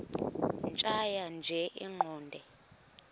tjhaya nje iqondee